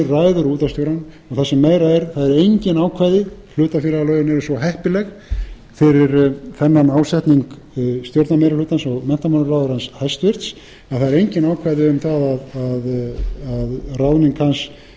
ræður útvarpsstjórann og það sem meira er það eru engin ákvæði hlutafélagalögin eru svo heppileg fyrir þennan ásetning stjórnarmeirihlutans og menntamálaráðherrans hæstvirtur að það eru engin ákvæði um það að